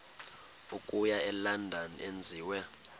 okuya elondon enziwe